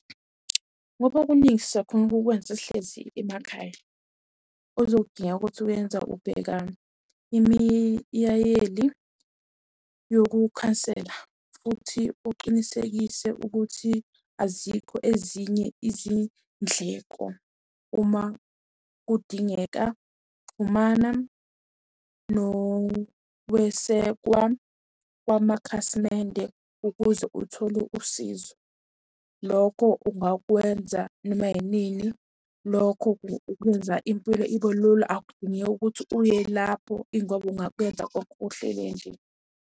Ngoba okuningi siyakhona ukukwenza sihlezi emakhaya. Okuzodingeka ukuthi uyenza ubheka imiyayeli yokukhansela, futhi uqinisekise ukuthi azikho ezinye izindleko. Uma kudingeka xhumana nokwesekwa kwamakhasimende ukuze uthole usizo. Lokho ungakwenza noma yinini, lokho kwenza impilo ibe lula. Akudingeki ukuthi uye lapho, ingoba ungakwenza konke uhlele nje.